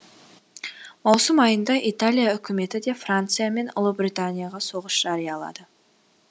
маусым айында италия үкіметі де франция мен ұлыбританияға соғыс жариялады